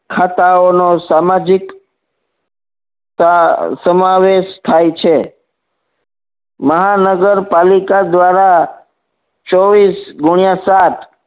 ખાતાઓનો સામાજિક સમાવેશ થાય છે મહાનગરપાલિકા દ્વારા ચોવીશ ગુણ્યા સાત